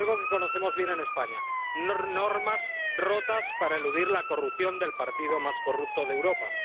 Algo que conocemos bien en España normas rotas para eludir la corrupción del partido más corrupto de Europa.